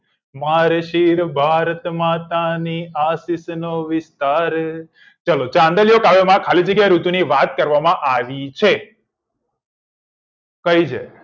મારે શિર ભારત માતા ને આશિષ ને વિસ્તાર ચલો ચાંદલિયો કાવ્ય માં ખાલી જગ્યા ઋતુ ની વાત કરવા માં આવી છે કઈ છે